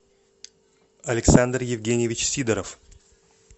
александр евгеньевич сидоров